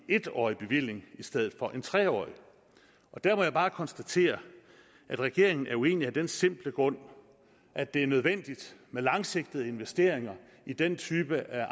årig bevilling i stedet for en tre årig der må jeg bare konstatere at regeringen er uenig af den simple grund at det er nødvendigt med langsigtede investeringer i den type af